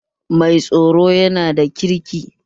Mai tsaron yana da kirki